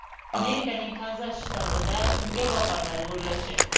Amerikaning Kanzas shtatida kungaboqarlar gullashi.